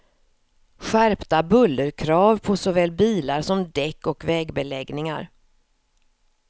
Skärpta bullerkrav på såväl bilar som däck och vägbeläggningar.